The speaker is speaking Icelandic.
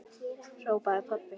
hrópaði pabbi.